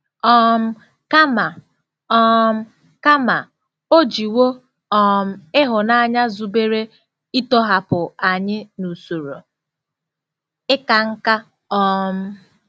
um Kama, um Kama, o jiwo um ịhụnanya zubere ịtọhapụ anyị n'usoro ịka nká! um